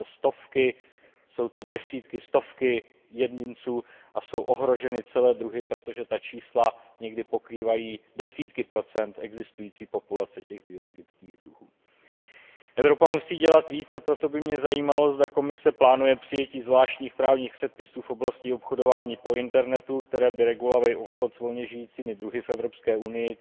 Jsou to desítky, stovky jedinců a jsou ohroženy celé druhy, protože ta čísla někdy pokrývají desítky procent existující populace těch biologických druhů. Evropa musí dělat více, a proto by mě zajímalo, zda Komise plánuje přijetí zvláštních právních předpisů v oblasti obchodování po internetu, které by regulovaly obchod s volně žijícími druhy v Evropské unii.